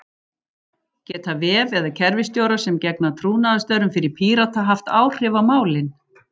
Geta vef- eða kerfisstjórar sem gegna trúnaðarstörfum fyrir Pírata haft áhrif á málin?